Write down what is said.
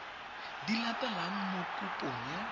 di latelang mo kopong ya